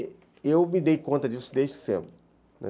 E eu me dei conta disso desde cedo.